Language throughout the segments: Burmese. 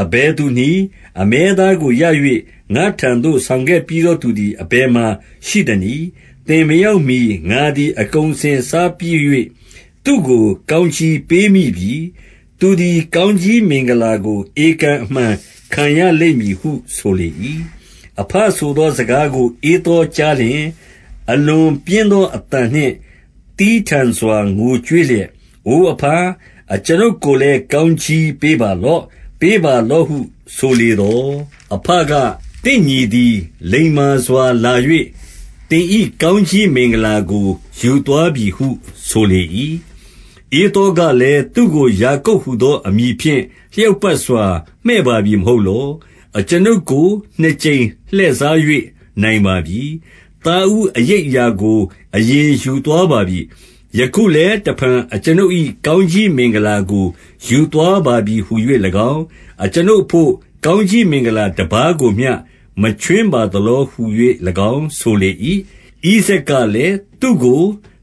အဘယ်သူနည်း၊ 33 အမဲသားကိုရ၍၊ ငါ့ထံသို့ ဆောင်ခဲ့ပြီးသော သူသည် အဘယ်မှာ ရှိသနည်း။ သင်မရောက်မှီ ငါသည် အကုန်အစင်စားပြီး၍၊ သူ့ကို ကောင်းကြီးပေးမိပြီ။ သူ သည် ကောင်းကြီးမင်္ဂလာကို ဧကန်အမှန်ခံရလိမ့်မည်ဟု ဆိုလေ၏။ 34 အဘဆိုသော စကားကိုဧသောကြားလျှင်၊ အလွန်ပြင်းသောအသံနှင့် သည်းထန်စွာ ငိုကြွေးလျက်၊ အိုအဘ၊ အကျွန်ုပ်ကိုလည်း ကောင်းကြီးပေးပါလော့၊ ပေးပါလော့ဟုဆိုလေသော်၊ 35 အဘက၊ သင့်ညီသည် လိမ္မာစွာလာ၍၊ သင်၏ ကောင်းကြီးမင်္ဂလာကို ယူသွားပြီဟု ဆိုလေ၏။ 36 ဧသောကလည်း၊ သူ့ကို ယာကုပ်ဟူသော အမည်ဖြင့် လျောက်ပတ်စွာ မှည့်ပါပြီ မဟုတ်လော။ အကျွန်ုပ်ကို နှစ်ကြိမ်လှည့်စား၍ နိုင်ပါပြီ။ သားဦးအရိပ် အရာကို အရင်ယူသွားပါပြီ။ ယခုလည်း တဖန် အကျွန်ုပ် ၏ကောင်းကြီးမင်္ဂလာကို ယူသွားပါပြီဟူ၍၎င်း၊ အကျွန်ုပ် အဘို့ ကောင်းကြီးမင်္ဂလာတပါးကိုမျှ မခြွင်းပါသလော ဟူ၍၎င်း ဆိုလေ၏။ 37 ဣဇာက်ကလည်း၊ သူ့ကို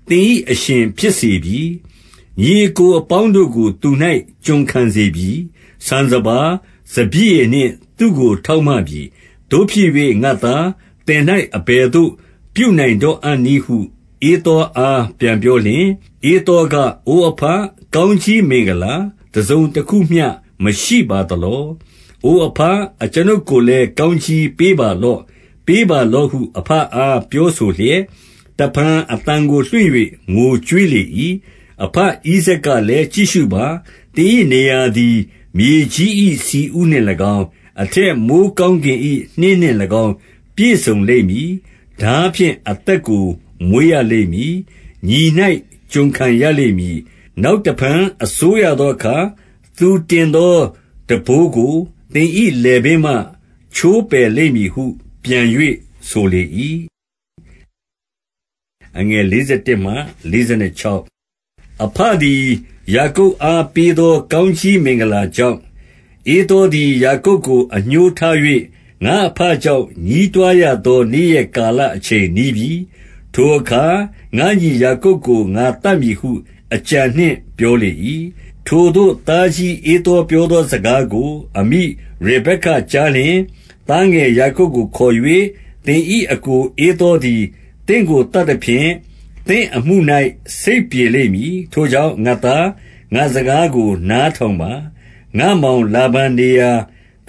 သင်၏အရှင်ဖြစ် စေပြီ။ ညီအစ်ကိုအပေါင်းတို့ကို သူ၌ကျွန်ခံစေပြီ။ ဆန်စပါး၊ စပျစ်ရည်နှင့်သူ့ကို ထောက်မပြီး။ သို့ဖြစ်၍ ငါ့သား၊ သင်၌ အဘယ်သို့ပြုနိုင်တော့အံ့နည်းဟု၊ ဧသော အား ပြန်ပြောလျှင်၊ 38 ဧသောက၊ အိုအဘ၊ ကောင်းကြီးမင်္ဂလာ တစုံတခုမျှ မရှိပါသလော၊ အိုအဘ၊ အကျွန်ုပ်ကိုလည်း ကောင်းကြီးပေးပါလော့၊ ပေးပါလောဟု အဘအား ပြောဆိုလျက်၊ တဖန်အသံကိုလွှင့်၍ ငိုကြွေးလေ၏။ 39 အဘဣဇာက်ကလည်း၊ ကြည့်ရှုပါ။ သင်၏ နေရာသည် မြေကြီး၏ဆီဥနှင့်၎င်း၊ အထက်မိုယ်း ကောင်းကင်၏နှင်းနှင့်၎င်း ပြည့်စုံလိမ့်မည်။ 40 ထားဖြင့် အသက်ကိုမွေးရလိမ့်မည်။ ညီ၌ ကျွန် ခံရလိမ့်မည်။ နောက်တဖန် အစိုးရသောအခါ၊ သူတင် သောထမ်းဘိုးကို သင်၏လည်ပင်းမှ ချိုးပယ်လိမ့်မည်ဟု ပြန်၍ဆိုလေ၏။ 41 အဘသည် ယာကုပ်အား ပေးသော ကောင်းကြီး မင်္ဂလာကြောင့်၊ ဧသောသည် ယာကုပ်ကို အငြိုးထား၍၊ ငါ့အဘကြောင့် ညည်းတွားရသော နေ့ရက်ကာလ အချိန် နီးပြီ။ ထိုအခါ ငါ့ညီယာကုပ်ကို ငါသတ်မည်ဟု၊ အကြံနှင့် ပြောလေ၏။ 42 ထိုသို့သားကြီး ဧသောပြောသောစကားကို အမိ အရဗက္ကကြားလျှင်၊ သားငယ်ယာကုပ်ကိုခေါ်၍၊ သင်၏ အစ်ကိုဧသောသည် သင့်ကိုသတ်သဖြင့်၊ သင့်အမှု၌ စိတ်ပြေလိမ့်မည်။ 43 ထိုကြောင့်၊ ငါ့သား၊ ငါ့စကားကို နားထောင်ပါ။ ငါ့မောင်လာဗန် နေရာ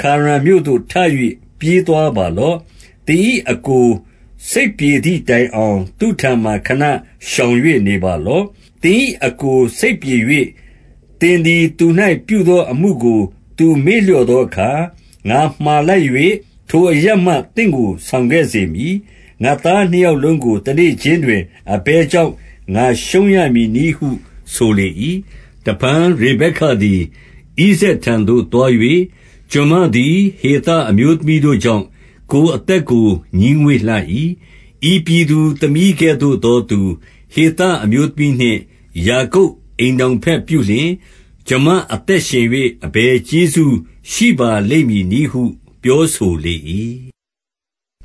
ခါရန်မြို့သို့ ထ၍ ပြေးသွား ပါလော့။ 44 သင်၏အစ်ကိုစိတ်ပြေသည်တိုင်အောင်၊ သူ့ထံမှာ ခဏရှောင်၍ နေပါလော့။ 45 သင်၏အစ်ကို စိတ်ပြေ၍၊ သင်သည် သူ၌ ပြုသောအမှုကို သူမေ့လျော့သောအခါ၊ ငါမှာလိုက်၍၊ ထိုအရပ်မှသင့်ကို ဆောင်ခဲ့စေမည်။ ငါ့သားနှစ်ယောက် လုံးကို တနေ့ခြင်းတွင် အဘယ်ကြောင့် ငါရှုံးရမည်နည်း ဟု ဆိုလေ၏။ 46 တဖန်ရေဗက္ကသည် ဣဇာက်ထံသို့သွား၍၊ ကျွန်မသည် ဟေသအမျိုးသမီးတို့ကြောင့်၊ ကိုယ်အသက် ကို ငြီးငွေ့လှ၏။ ဤပြည်သူသမီးကဲ့သို့သောသူ၊ ဟေသ အမျိုးသမီးနှင့် ယာကုပ်အိမ်ထောင်ဘက်ပြုလျှင်၊ ကျွန်မ အသက်ရှင်၍ အဘယ်ကျေးဇူးရှိပါလိမ့်မည်နည်းဟု ပြောဆိုလေ၏။